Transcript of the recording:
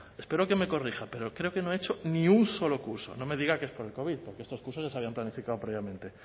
espero que me corrija pero creo que no ha hecho ni un solo curso no me diga que es por el covid porque estos cursos ya se habían planificado previamente